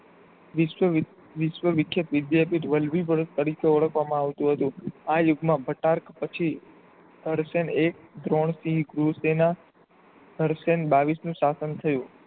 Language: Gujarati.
વિશ્વ વી વી વિધ્યાપિઠ વલભી ભરત તરીકે ઓળખવામાં આવતું હતું આ યુગમાં ભટારગ પછી અલશાઢ એક સેના અલશેઠ હડસેન બાવીશનું શાસન થયું.